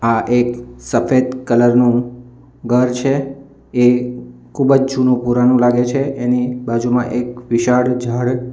આ એક સફેદ કલર નું ઘર છે એ ખૂબ જ જૂનું પુરાનું લાગે છે એની બાજુમાં એક વિશાળ ઝાડ --